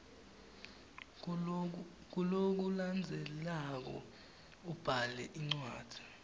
kulokulandzelako ubhale indzaba